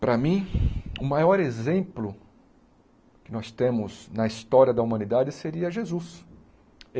Para mim, o maior exemplo que nós temos na história da humanidade seria Jesus.